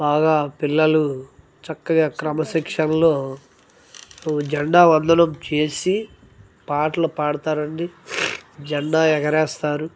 బాగా పిల్లలు చక్కగా క్రమశిక్షణలో జండా వందనం చేసి పాటలు పాడుతారండి జెండా ఎగరేస్తారు.